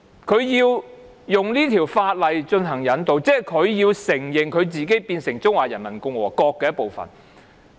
台灣容許以這項法例進行引渡，即是承認台灣是中華人民共和國的一部分。